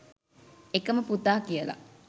එකම පුතා කියලා.